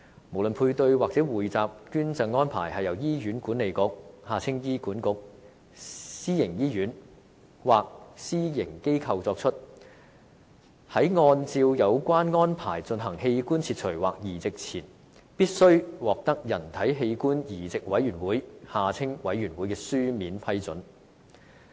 不論配對或匯集捐贈安排是由醫院管理局、私營醫院或私營機構作出，在按照有關安排進行器官切除或移植前，均必須獲得人體器官移植委員會的書面批准。